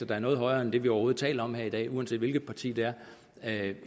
der er noget højere end det vi overhovedet taler om her i dag uanset hvilket parti det er